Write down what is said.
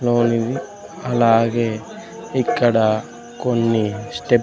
only అలాగే ఇక్కడ కొన్ని స్టెప్ --